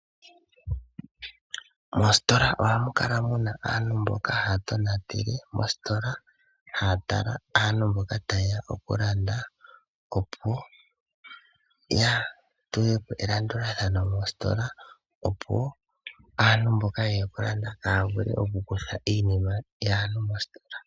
Mositola ohamu kala muna aantu mboka haya tonatele mositola haya tala aantu mboka tayeya okulanda opo yatulepo elandulathano mositola opo woo aantu mboka yeya okulanda kaya vule okukutha iinima yaantu mositola.